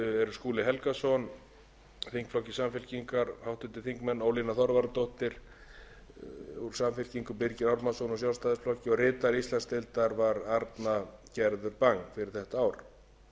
skúli helgason þingflokki samfylkingarinnar ólína þorvarðardóttir þingflokki samfylkingarinnar og birgir ármannsson þingflokki sjálfstæðisflokks ritari íslandsdeildar var arna gerður bang fyrir þetta